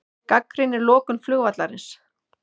Gagnrýnir lokun flugvallarins